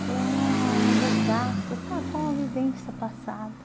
Foi um resgate dessa boa vivência passada.